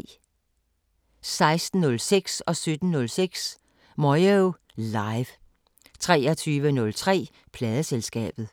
16:06: Moyo Live 17:06: Moyo Live 23:03: Pladeselskabet